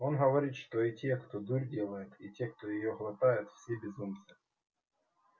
он говорит что и те кто дурь делает и те кто её глотает все безумцы